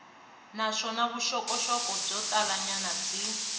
naswona vuxokoxoko byo talanyana byi